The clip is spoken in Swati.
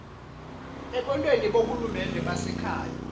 ekwenteni bohulumende basekhaya